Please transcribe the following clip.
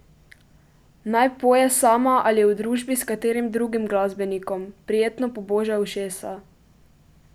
Naj poje sama ali v družbi s katerim drugim glasbenikom, prijetno poboža ušesa.